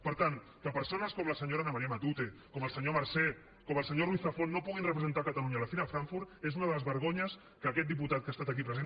per tant que persones com la senyora ana maría ma·tute com el senyor marsé com el senyor ruiz zafón no puguin representar catalunya a la fira de frank·furt és una de les vergonyes que aquest diputat que ha estat aquí present